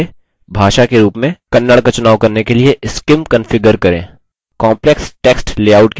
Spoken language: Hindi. text input के लिए भाषा के रूप में kannada का चुनाव करने के लिए scim कंफिगर करें